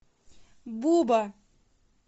буба